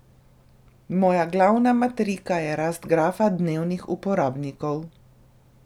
Moja glavna matrika je rast grafa dnevnih uporabnikov.